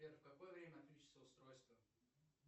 сбер в какое время отключиться устройство